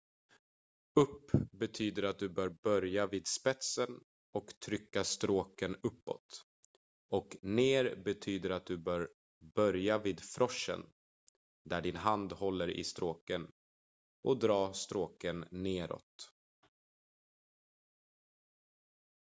upp betyder att du bör börja vid spetsen och trycka stråken uppåt och ner betyder att du bör börja vid froschen där din hand håller i stråken och dra stråken neråt